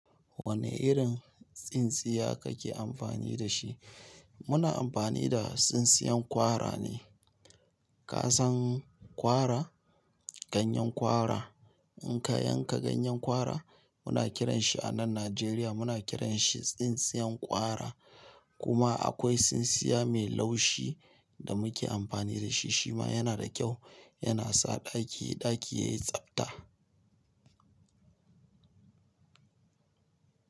Wane irin tsintsiya kake amfani da shi? Muna amfani da tsintsiyan kwara ne. Kazan kwara, ganyen kwara. In ka yanka ganyen kwara muna kiran shi a nan Nigeria muna kiran shi tsintsiyar kwara kuma akwai tsintsiya mai laushi da muke amfani da shi. Shima yana da kyau, yana sa ɗaki ɗaki yayi tsabta.